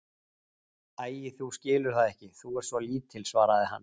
Æi, þú skilur það ekki, þú ert svo lítil, svaraði hann.